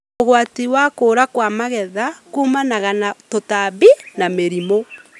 ũgwati wa kũũra kwa magetha kũmana na tũtambi na mĩrimũ.